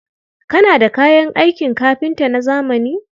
Kana da kayan aikin kafinta na zamani?